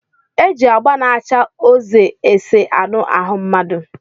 E ji agba na-acha oze ese anụ ahụ mmadụ.